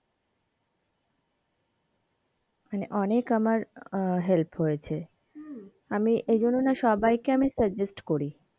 মানে অনেক আমার আহ help হয়েছে হম আমি এইজন্য না সবাই কে suggest করি,